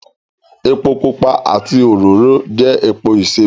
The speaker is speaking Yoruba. Epo pupa àti òróró jẹ́ epo ìsebẹ̀